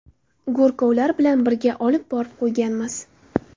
Go‘rkovlar bilan birga olib borib qo‘yganmiz.